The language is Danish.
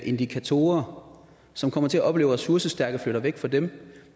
indikatorer og som kommer til at opleve at ressourcestærke flytter væk fra dem